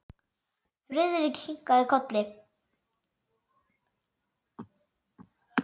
Friðrik kinkaði kolli.